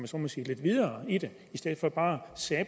så må sige lidt videre i det i stedet for bare